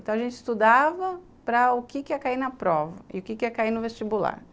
Então a gente estudava para o que quê ia cair na prova e o que ia cair no vestibular.